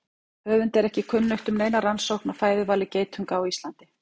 Höfundi er ekki kunnugt um neina rannsókn á fæðuvali geitunga á Íslandi.